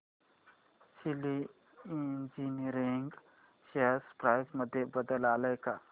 शेली engineering share price मध्ये बदल आलाय का